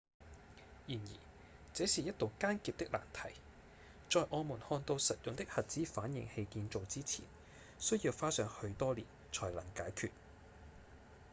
然而這是一道艱澀的難題在我們看到實用的核子反應器建造之前需要花上許多年才能解決